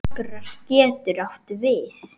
Akrar getur átt við